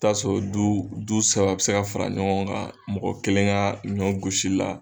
t'a sɔrɔ du du saba bɛ se ka fara ɲɔgɔn kan mɔgɔ kelen ka ɲɔgosi la.